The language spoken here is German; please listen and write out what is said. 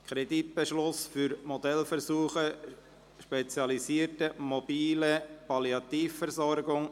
«Kreditbeschluss Modellversuch spezialisierte mobile Palliativversorgung».